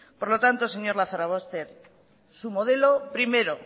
por lo tanto señor lazarobaster su modelo primero